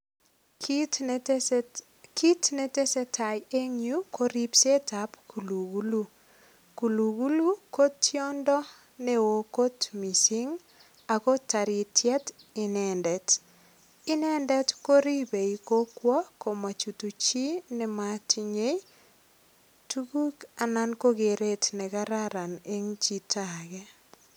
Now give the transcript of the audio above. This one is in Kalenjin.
Kit netesetai eng yu ko ripsetab kulugulu. Kulugulu ko tiondo neo kot mising ago taritiet inendet. Inendet koribei kokwo amachutu chinematinye tuguk anan ko keret ne kararan en chito age.